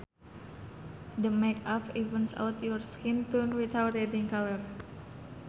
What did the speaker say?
The makeup evens out your skin tone without adding color